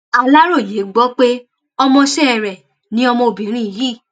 aláròye gbọ pé ọmọọṣẹ rẹ ni ọmọbìnrin yìí